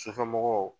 Sufɛmɔgɔw